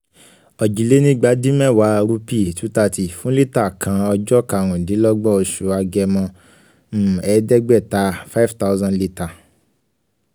òjìlénígbadínmẹ́wàá rúpì wo thirty fún lítà kan ọjọ́ kàrúndínlọ́gbọ̀n oṣù um agẹmọ ẹ̀ẹ́dẹ́gbáaàta five thousand litter